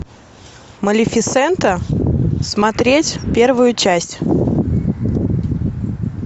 малефисента смотреть первую часть